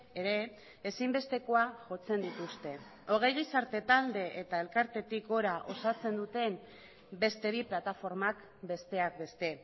ere ezinbestekoa jotzen dituzte hogei gizarte talde eta elkartetik gora osatzen duten beste bi plataformak besteak beste